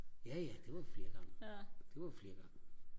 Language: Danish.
jaja det var vi flere gange det var vi flere gange